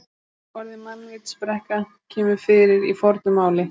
Orðið mannvitsbrekka kemur fyrir í fornu máli.